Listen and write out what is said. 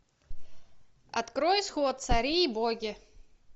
открой исход цари и боги